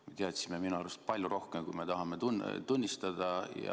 Me teadsime minu arust palju rohkem, kui me tahame tunnistada.